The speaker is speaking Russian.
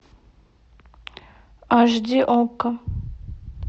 аш ди окко